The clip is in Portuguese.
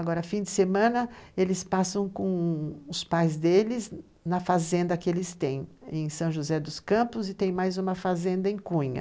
Agora, fim de semana, eles passam com os pais deles na fazenda que eles têm, em São José dos Campos, e tem mais uma fazenda em Cunha.